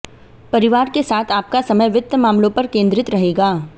परिवार के साथ आपका समय वित्त मामलों पर केन्द्रित रहेगा